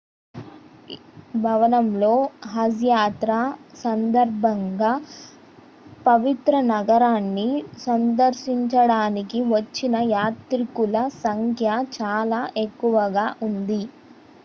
ఈ భవనంలో హజ్ యాత్ర సందర్భంగా పవిత్ర నగరాన్ని సందర్శించడానికి వచ్చిన యాత్రికుల సంఖ్య చాలా ఎక్కువగా ఉంది